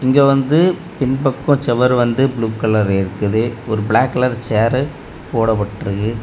இங்க வந்து பின்பக்கச் செவர் வந்து ப்ளூ கலர் இருக்குது ஒரு பிளாக் கலர் சேர் போடப்பட்டிருக்கு.